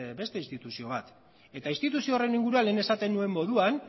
beste instituzio bat eta instituzio horren inguruan lehen esaten nuen moduan